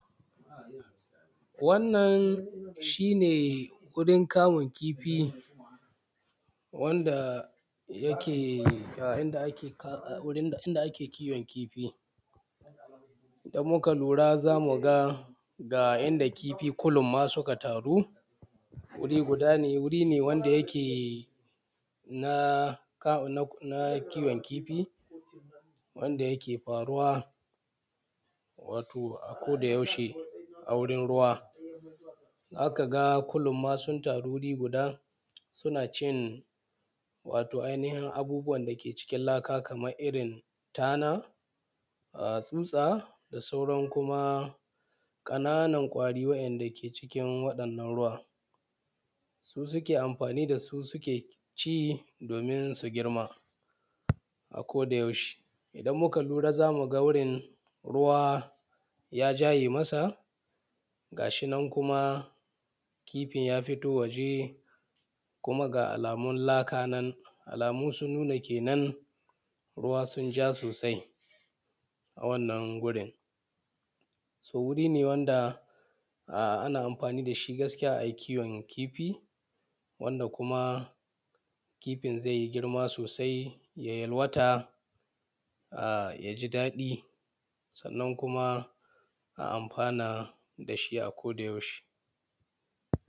wannan shi ne wurin kamun kifi wanda yake inda ake kamun kifi idan muka lura za mu ga ga inda kifi kulumma suka taru wuri guda ne wuri ne da yake na kiwon kifi wanda yake faruwa wato a kodayaushe a wurin ruwa za ka ga kulumma sun taru wuri guda suna cin wato ainihin abubuwan da ke cikin laka kamar irin tana tsutsa da sauran kuma ƙananan ƙwari waɗanda ke cikin wannan ruwa su suke amfani da su suke ci domin su girma a kodayaushe idan muka lura za mu ga wurin ruwa ya jaye masa ga shi nan kuma kifin ya fito waje kuma ga alamun laka nan alamu sun nuna kenan ruwa sun ja sosai a wannan wurin so wuri ne wanda ana amfani da shi gaskiya a yi kiwon kifi wanda kuma kifin zai yi girma sosai ya yalwata ya ji daɗi sannan kuma a amfana da shi a kodayaushe